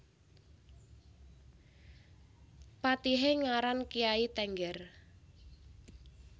Patihé ngaran Kyai Tengger